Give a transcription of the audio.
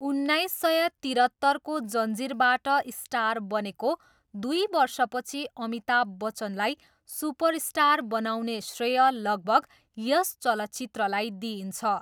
उन्नाइस सय तिरत्तरको जन्जिरबाट स्टार बनेको दुई वर्षपछि अमिताभ बच्चनलाई सुपरस्टार बनाउने श्रेय लगभग यस चलचित्रलाई दिइन्छ।